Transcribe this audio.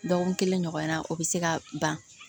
Dɔgɔkun kelen ɲɔgɔnna o bɛ se ka ban